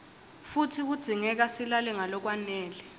futsi kudzingeka silale ngalokwanele